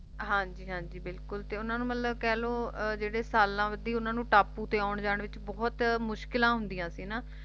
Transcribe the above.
ਹਾਂਜੀ ਹਾਂਜੀ ਬਿਲਕੁਲ ਤੇ ਉਨ੍ਹਾਂ ਨੂੰ ਮਤਲਬ ਕਹਿ ਲੋ ਜਿਹੜੇ ਸਾਲਾਂ ਵਧੀ ਉਨ੍ਹਾਂ ਨੂੰ ਟਾਪੂ ਤੇ ਆਉਣ ਜਾਣ ਵਿਚ ਬਹੁਤ ਮੁਸ਼ਕਿਲਾਂ ਹੁੰਦੀਆਂ ਸੀ ਨਾ